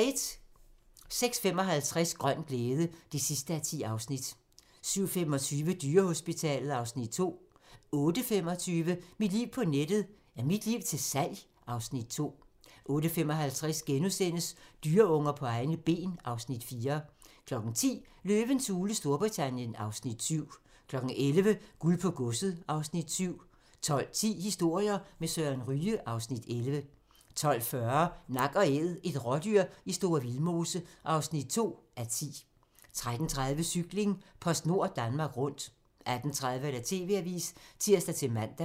06:55: Grøn glæde (10:10) 07:25: Dyrehospitalet (Afs. 2) 08:25: Mit liv på nettet: Er mit liv til salg? (Afs. 2) 08:55: Dyreunger på egne ben (Afs. 4)* 10:00: Løvens hule Storbritannien (Afs. 7) 11:00: Guld på godset (Afs. 7) 12:10: Historier med Søren Ryge (Afs. 11) 12:40: Nak & Æd - et rådyr i Store Vildmose (2:10) 13:30: Cykling: PostNord Danmark Rundt 18:30: TV-avisen (tir-man)